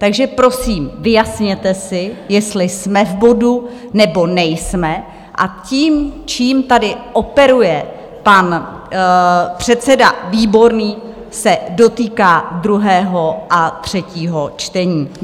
Takže prosím, vyjasněte si, jestli jsme v bodu, nebo nejsme, a tím, čím tady operuje pan předseda Výborný, se dotýká druhého a třetího čtení.